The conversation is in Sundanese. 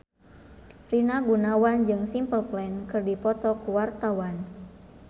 Rina Gunawan jeung Simple Plan keur dipoto ku wartawan